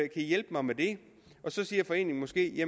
i hjælpe mig med det så siger foreningen måske